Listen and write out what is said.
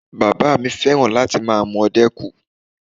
Bàbá mi fẹ́ràn láti máa mu ọdẹ́kù